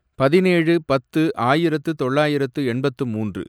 பதினேழு, பத்து, ஆயிரத்து தொள்ளாயிரத்து எண்பத்து மூன்று